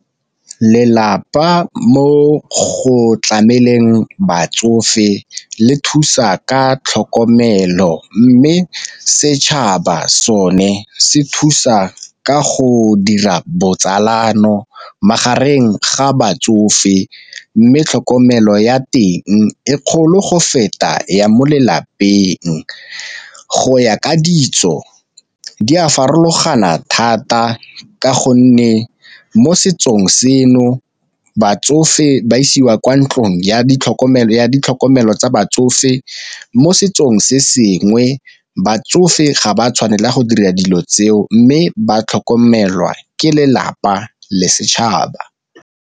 Lelapa mo go tlameleng batsofe le thusa ka tlhokomelo, mme setšhaba sone se thusa ka go dira botsalano magareng ga batsofe mme tlhokomelo ya teng e kgolo go feta ya mo lelapeng. Go ya ka ditso di a farologana thata, ka gonne mo setsong seno batsofe ba isiwa kwa ntlong ya ditlhokomelo tsa batsofe mo setsong se sengwe batsofe ga ba tshwanela go dira dilo tseo mme ba tlhokomelwa ke lelapa le setšhaba.